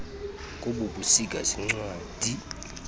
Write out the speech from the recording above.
kobu busika ziincwadi